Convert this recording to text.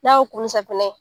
N'a yo ko ni safinɛ ye.